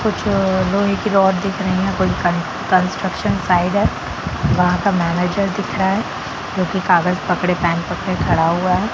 कुछ लोहे की रड दिख रही हैं कोई कन कन्स्ट्रक्शन साइट है वहाँ का मैनेजर दिख रहा है जो की काग़ज़ पकड़े पेन पकड़े खड़ा हुआ है।